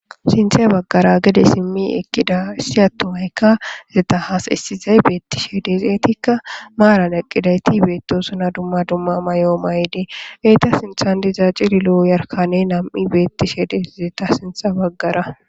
Sinththe baggara gede simi eqida issi atumayikka ezeta hasyisishshe deesi siyishe dizayitika marara eqidi deizayisakka besesi ezetikka dumma dumma mayo mayidi eyita sinththani deiza cililo namu yarikaneyi betishe deesi eyita sinthara